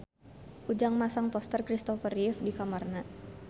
Ujang masang poster Kristopher Reeve di kamarna